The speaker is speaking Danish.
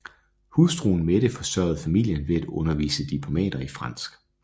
Hustruen Mette forsørgede familien ved at undervise diplomater i fransk